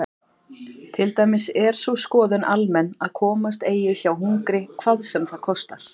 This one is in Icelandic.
Til dæmis er sú skoðun almenn að komast eigi hjá hungri hvað sem það kostar.